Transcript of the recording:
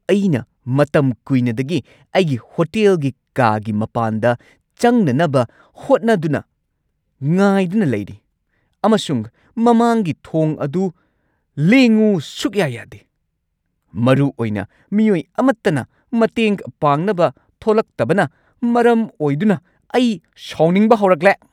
ꯑꯩꯅ ꯃꯇꯝ ꯀꯨꯏꯅꯗꯒꯤ ꯑꯩꯒꯤ ꯍꯣꯇꯦꯜꯒꯤ ꯀꯥꯒꯤ ꯃꯄꯥꯟꯗ ꯆꯪꯅꯅꯕ ꯍꯣꯠꯅꯗꯨꯅ ꯉꯥꯏꯗꯨꯅ ꯂꯩꯔꯤ, ꯑꯃꯁꯨꯡ ꯃꯃꯥꯡꯒꯤ ꯊꯣꯡ ꯑꯗꯨ ꯂꯦꯡꯉꯨ ꯁꯨꯛꯌꯥ-ꯌꯥꯗꯦ! ꯃꯔꯨꯑꯣꯏꯅ ꯃꯤꯑꯣꯏ ꯑꯃꯠꯇꯅ ꯃꯇꯦꯡ ꯄꯥꯡꯅꯕ ꯊꯣꯂꯛꯇꯕꯅ ꯃꯔꯝ ꯑꯣꯏꯗꯨꯅ, ꯑꯩ ꯁꯥꯎꯅꯤꯡꯕ ꯍꯧꯔꯛꯂꯦ꯫